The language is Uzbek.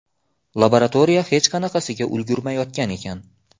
Laboratoriya hech qanaqasiga ulgurmayotgan ekan.